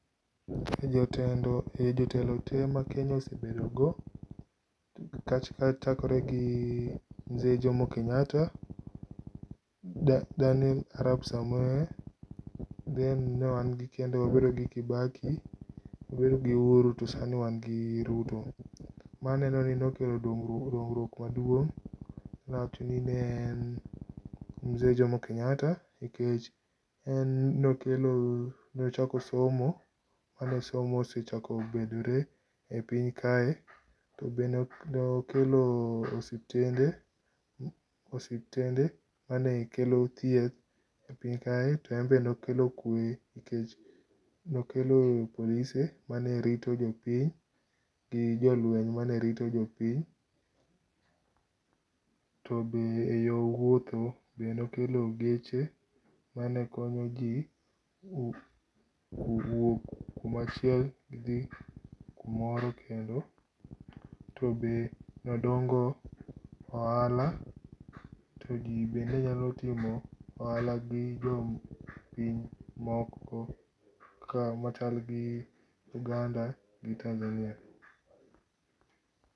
E jotelo te ma Kenya osebedo go, ka chakore gi mzee Jomo Kenyatta, Daniel Arap Samoe, then nw wan gi kendo, Uhuru gi Kibaki, Uhuru gi Uhuru to sani wan gi Ruto. Ma neno ni nokelo dongruok maduong' dawach ni en mzee Jomo Kenyatta nikech en nokelo ,nochoko somo kane somo osechako bedore e piny kae. To be nokelo osiptende, manekelo thieth e piny kae. To en be nokelo kuwe nikech nokelo polise manerito jopiny gi jolweny manerito jopiny. To bende yo wuotho be nokelo geche manekonyo ji wuok kumorachiel gidhi kumoro kendo. To be nodongo ohala ,to ji be nenyalo timo ohala gi jopiny moko ka machal gi Uganda gi Tanzania.